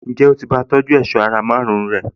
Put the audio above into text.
Ǹjẹ́ o ti bá a tọjú èṣọ́ ara márùn-ún rẹ̀?